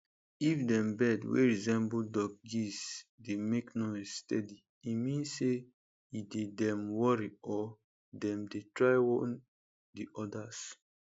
if dem bird wey resemble duckgeesedey make noise steady e mean say e dey dem worry or dem dey try warn de odas